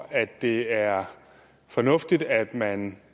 at det er fornuftigt at man